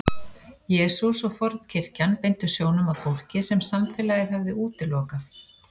Jesús og fornkirkjan beindu sjónum að fólki sem samfélagið hafði útilokað.